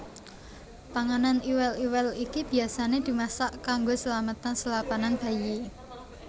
Panganan iwel iwel iki biayasané dimasak kanggo slametan selapanan bayi